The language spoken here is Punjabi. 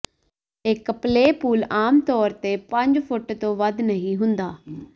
ਇੱਕ ਪਲੇ ਪੂਲ ਆਮ ਤੌਰ ਤੇ ਪੰਜ ਫੁੱਟ ਤੋਂ ਵੱਧ ਨਹੀਂ ਹੁੰਦਾ